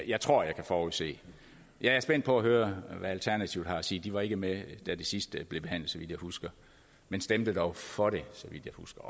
jeg tror jeg kan forudse det jeg er spændt på at høre hvad alternativet har at sige de var ikke med da det sidste blev behandlet så vidt jeg husker men stemte dog for det så vidt jeg husker